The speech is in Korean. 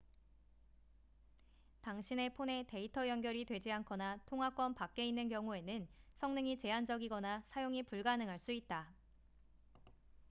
당신의 폰에 데이터 연결이 되지 않거나 통화권 밖에 있는 경우에는 성능이 제한적이거나 사용이 불가능할 수 있다